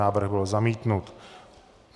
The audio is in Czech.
Návrh byl zamítnut.